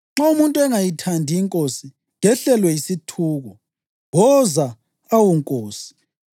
Nxa umuntu engayithandi iNkosi, kehlelwe yisithuko. Woza, awu Nkosi!